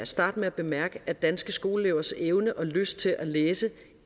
starte med at bemærke at danske skoleelevers evne og lyst til at læse